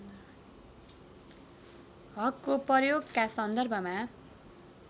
हकको प्रयोगका सन्दर्भमा